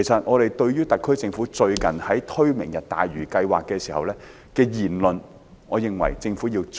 我認為特區政府最近在推出"明日大嶼"計劃時，言論應謹慎些。